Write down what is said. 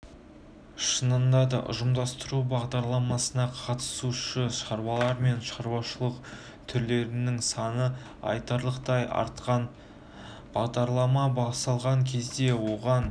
шынында да ұжымдастыру бағдарламасына қатысушы шаруалар мен шаруашылық түрлерінің саны айтарлықтай артқан бағдарлама басталған кезде оған